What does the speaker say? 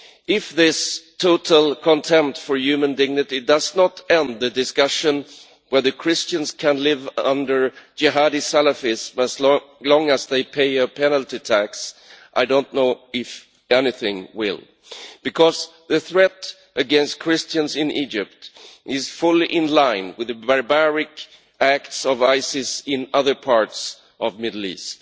If this total contempt for human dignity does not end the discussion about whether the Christians can live under Jihadi Salafists as long as they pay a penalty tax, I do not know if anything will, because the threat against Christians in Egypt is fully in line with the barbaric acts of Isis in other parts of the Middle East.